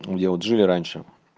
где вот жили раньше